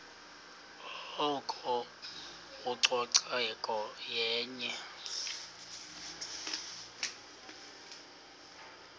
oko ucoceko yenye